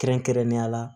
Kɛrɛnkɛrɛnnenya la